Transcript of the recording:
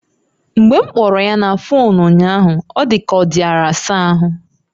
Mgbe m kpọrọ ya na fuunu unyahu ọ dika ọ diara asa ahụ